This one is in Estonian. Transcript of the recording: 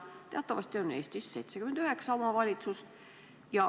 Teatavasti on Eestis 79 omavalitsust.